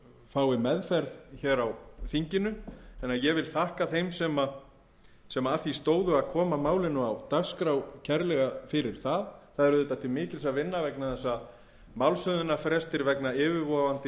fái meðferð hér á þinginu þannig að ég vil þakka þeim sem að því stóðu að koma málinu á dagskrá kærlega fyrir það það er auðvitað til mikils að vinna vegna þess að málshöfðunarfrestur vegna yfirvofandi